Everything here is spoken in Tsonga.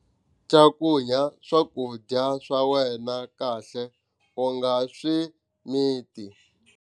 Cakunya swakudya swa wena kahle u nga swi miti.